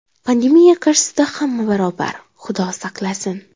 Pandemiya qarshisida hamma barobar, Xudo saqlasin.